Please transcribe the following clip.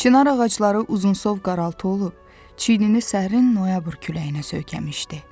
Çinar ağacları uzunsov qaraltı olub, çiynini səhrin noyabr küləyinə söykəmişdi.